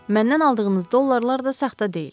Məndən aldığınız dollarlar da saxta deyil.